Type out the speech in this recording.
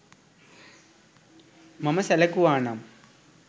මම සැලකුවා නම්